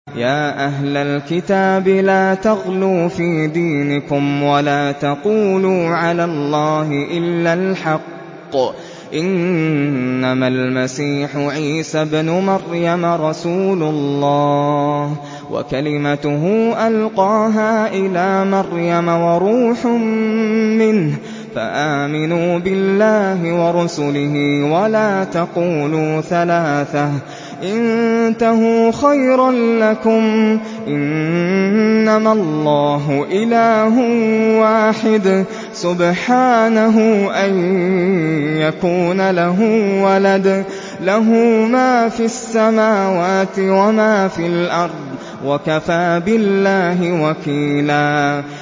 يَا أَهْلَ الْكِتَابِ لَا تَغْلُوا فِي دِينِكُمْ وَلَا تَقُولُوا عَلَى اللَّهِ إِلَّا الْحَقَّ ۚ إِنَّمَا الْمَسِيحُ عِيسَى ابْنُ مَرْيَمَ رَسُولُ اللَّهِ وَكَلِمَتُهُ أَلْقَاهَا إِلَىٰ مَرْيَمَ وَرُوحٌ مِّنْهُ ۖ فَآمِنُوا بِاللَّهِ وَرُسُلِهِ ۖ وَلَا تَقُولُوا ثَلَاثَةٌ ۚ انتَهُوا خَيْرًا لَّكُمْ ۚ إِنَّمَا اللَّهُ إِلَٰهٌ وَاحِدٌ ۖ سُبْحَانَهُ أَن يَكُونَ لَهُ وَلَدٌ ۘ لَّهُ مَا فِي السَّمَاوَاتِ وَمَا فِي الْأَرْضِ ۗ وَكَفَىٰ بِاللَّهِ وَكِيلًا